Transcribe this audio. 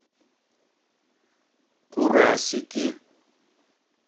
курасики